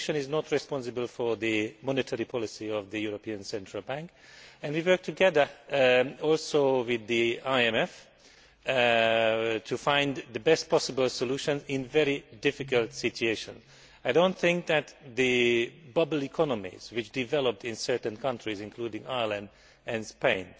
The Commission is not responsible for the monetary policy of the European Central Bank and we are also working together with the IMF to find the best possible solution in a very difficult situation. I do not think that the bubble economies which developed in certain countries, including Ireland and Spain,